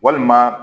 Walima